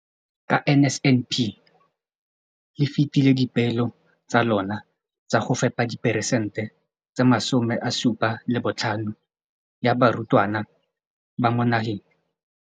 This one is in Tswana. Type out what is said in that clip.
Ka NSNP le fetile dipeelo tsa lona tsa go fepa 75 percent ya barutwana ba mo nageng.